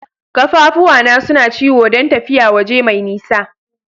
Kaffafuwa na suna ciwo dan tafiya waje mai nisa.